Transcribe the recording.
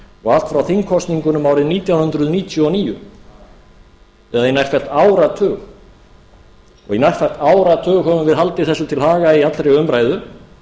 og allt frá þingkosningunum árið nítján hundruð níutíu og níu eða í nærfellt áratug og í nærfellt áratug höfum við haldið þessu til haga í allri umræðu